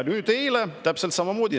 Eile oli täpselt samamoodi.